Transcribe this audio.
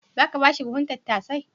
Za ka ba shi buhun tattasai?